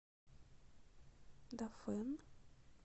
дафэн